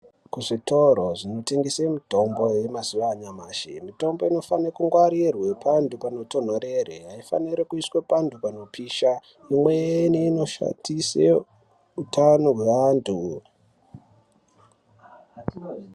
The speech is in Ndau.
Kuzvitoro zvinotengese mitombo yemazuwa anyamashi mitombo inofane kungwarirwe pantu panotonhorere aifaniri kuiswa pantu panopisha imweni inoshatise utano hwe antu